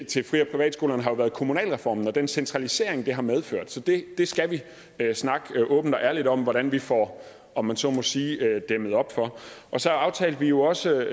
til fri og privatskolerne har jo været kommunalreformen og den centralisering det har medført så det skal vi snakke åbent og ærligt om hvordan vi får om man så må sige dæmmet op for og så aftalte vi jo også